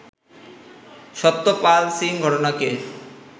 সত্যপাল সিং ঘটনাকে